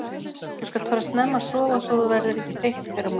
Þú skalt fara snemma að sofa svo þú verðir ekki þreytt í fyrramálið.